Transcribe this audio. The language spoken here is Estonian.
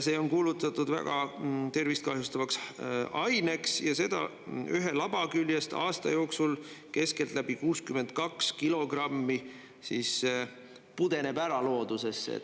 See on kuulutatud väga tervist kahjustavaks aineks ja seda ühe laba küljest aasta jooksul keskeltläbi 62 kilogrammi pudeneb ära loodusesse.